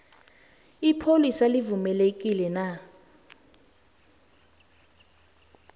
ipholisa livumelekile na